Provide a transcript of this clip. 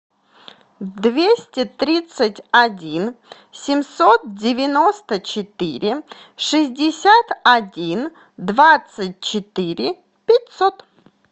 двести тридцать один семьсот девяносто четыре шестьдесят один двадцать четыре пятьсот